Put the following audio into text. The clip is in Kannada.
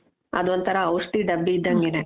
ಅದೊಂತರ ಔಷಧಿ ಡಬ್ಬಿ ಇದ್ದಂಗೆನೆ